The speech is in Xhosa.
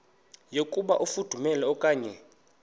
yokuba ifudumele okanye